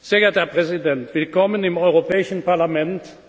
Sehr geehrter Herr Präsident, willkommen im Europäischen Parlament!